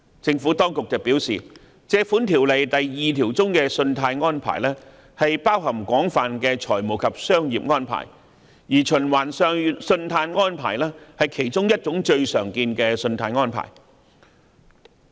政府當局表示，《條例》第2條中的"信貸安排"包含廣泛的財務及商業安排，而循環信貸安排是其中一種最常見的信貸安排。